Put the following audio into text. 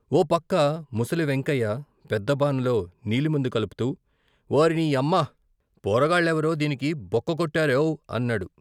ఓ పక్క ముసలి వెంకాయి పెద్ద బానలో నీలిమందు కలుపుతూ ఓర్నీయమ్మ పోరగాళ్ళెవరో దీనికి బోక్క కొట్టారేవ్ అన్నాడు.